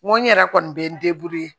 N ko n yɛrɛ kɔni bɛ n